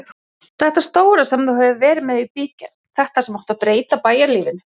Þetta stóra sem þú hefur verið með í bígerð, þetta sem átti að breyta bæjarlífinu.